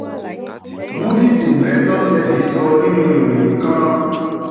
moody's investors service sọ nínú ìròyìn kan.